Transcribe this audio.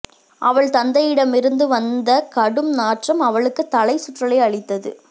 அவள் தந்தையிடமிருந்து வந்த கடும் நாற்றம் அவளுக்குத் தலை சுற்றலை அளித்தது